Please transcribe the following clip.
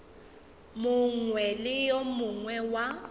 mongwe le yo mongwe wa